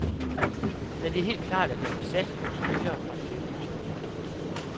Men det er helt klart, at jeg vil satse på spillere fra den hjemlige turnering.